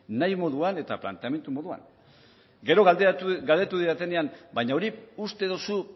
nahi moduan eta planteamendu moduan gero galdetu didatenean baina hori uste duzu